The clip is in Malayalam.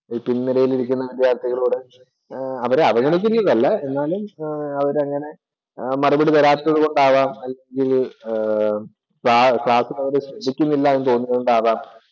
പിന്‍ നിരയില്‍ ഇരിക്കുന്ന വിദ്യാർത്ഥികളോട് അവരെ അവഗണിക്കുന്നത് അല്ല എന്നാലും അവരങ്ങനെ മറുപടി തരാത്തത് കൊണ്ടാകാം ക്ലാസ്സില്‍ അവര് ശ്രദ്ധിക്കുന്നില്ല എന്ന് തോന്നിയത് കൊണ്ടാകാം